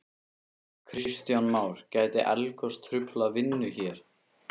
Kristján Már: Gæti eldgos truflað vinnu hér?